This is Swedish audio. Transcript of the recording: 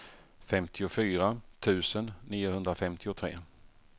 femtiofyra tusen niohundrafemtiotre